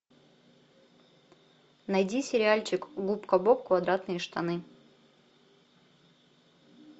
найди сериальчик губка боб квадратные штаны